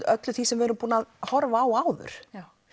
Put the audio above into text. öllu því sem við erum búin að horfa á áður